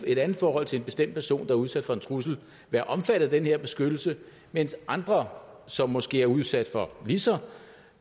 et andet forhold til en bestemt person der er udsat for en trussel være omfattet af den her beskyttelse mens andre som måske er udsat for lige så